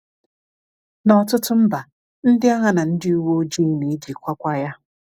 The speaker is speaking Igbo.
N’ọtụtụ mba, ndị agha na ndị uwe ojii na-ejikwakwa ya.